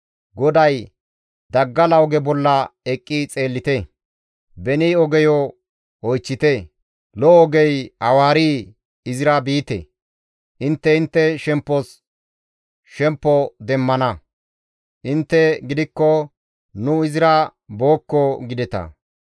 GODAY, «Daggala oge bolla eqqi xeellite; beni ogeyo oychchite; Lo7o ogey awaarii? Izira biite; intte intte shemppos shemppo demmana; intte gidikko, ‹Nu izira bookko!› gideta.